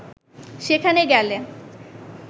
সেখানে গেলে